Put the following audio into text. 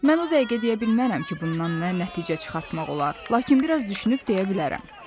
Mən o dəqiqə deyə bilmərəm ki, bundan nə nəticə çıxartmaq olar, lakin biraz düşünüb deyə bilərəm.